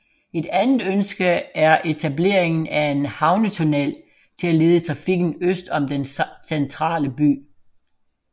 Et andet ønske er etableringen af en havnetunnel til at lede trafikken øst om den centrale by